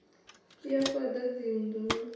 ya u fhaḓa dzinnḓu na